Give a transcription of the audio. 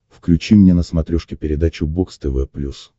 включи мне на смотрешке передачу бокс тв плюс